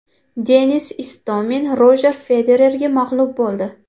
Denis Istomin Rojer Federerga mag‘lub bo‘ldi.